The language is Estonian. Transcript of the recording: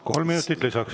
Kolm minutit lisaks.